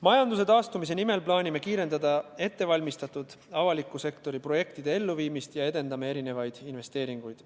Majanduse taastumise nimel plaanime kiirendada ettevalmistatud avaliku sektori projektide elluviimist ja edendame mitmesuguseid investeeringuid.